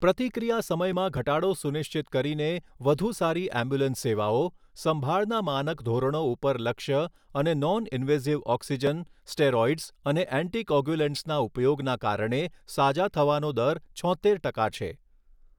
પ્રતિક્રિયા સમયમાં ઘટાડો સુનિશ્ચિત કરીને વધુ સારી એમ્બ્યુલન્સ સેવાઓ, સંભાળના માનક ધોરણો ઉપર લક્ષ્ય અને નોન ઇન્વેઝિવ ઓક્સિજન, સ્ટેરોઇ્ડસ અને એન્ટિ કોગ્યુલેન્ટ્સના ઉપયોગના કારણે સાજા થવાનો દર છોત્તેર ટકા છે.